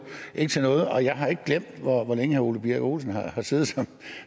og jeg har ikke glemt hvor længe herre ole birk olesen har siddet